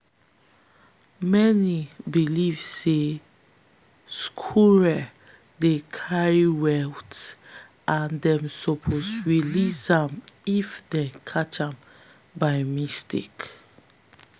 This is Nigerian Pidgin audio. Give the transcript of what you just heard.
many believe say squirrels dey carry wealth and them suppose release am if them catch am by mistake.